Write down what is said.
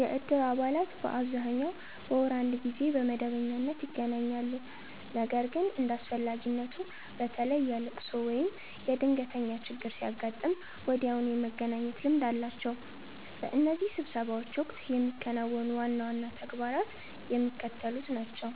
የእድር አባላት በአብዛኛው በወር አንድ ጊዜ በመደበኛነት ይገናኛሉ። ነገር ግን እንደ አስፈላጊነቱ፣ በተለይ የልቅሶ ወይም የድንገተኛ ችግር ሲያጋጥም ወዲያውኑ የመገናኘት ልምድ አላቸው። በእነዚህ ስብሰባዎች ወቅት የሚከናወኑ ዋና ዋና ተግባራት የሚከተሉት ናቸው፦